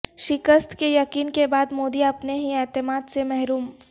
شکست کے یقین کے بعد مودی اپنے ہی اعتماد سے محروم